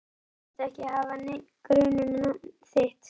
Ég þykist ekki hafa neinn grun um nafn þitt.